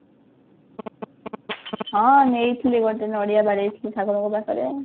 ହଁ ନେଇଥିଲି ଗୋଟେ ନଡିଆ ବାଡେଇଥିଲି ଠାକୁରଙ୍କ ପାଖରେ